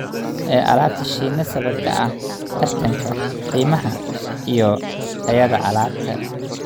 ee alaabta shinni sababtoo ah tartanka qiimaha iyo tayada alaabta.